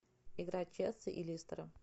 игра челси и лестера